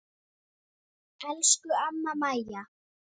Elsku amma Maja.